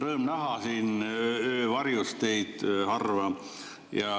Rõõm näha teid, siin harva ja öö varjus.